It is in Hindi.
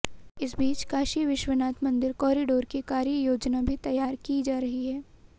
इस बीच काशी विश्वनाथ मंदिर कॉरिडोर की कार्ययोजना भी तैयार की जा रही है